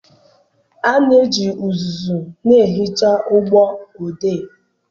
A na-eji uzuzu na-ehicha ụgbọ odee.